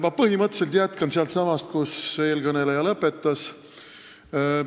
Ma põhimõtteliselt jätkan sealt, kus eelkõneleja lõpetas.